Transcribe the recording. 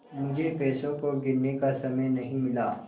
मुझे पैसों को गिनने का समय नहीं मिला